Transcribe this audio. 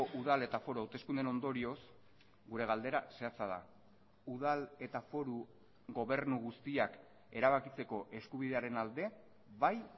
udal eta foru hauteskundeen ondorioz gure galdera zehatza da udal eta foru gobernu guztiak erabakitzeko eskubidearen alde bai